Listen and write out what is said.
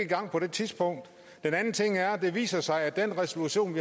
gang på det tidspunkt den anden ting er at det viser sig at resolution